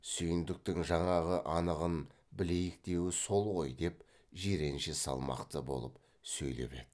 сүйіндіктің жаңағы анығын білейік деуі сол ғой деп жиренше салмақты болып сөйлеп еді